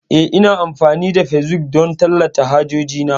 Eh, Ina amfani da facebook don tallata hajoji na.